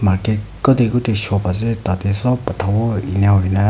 te kutae kutae shop ase tatae sop phatawo enakurna--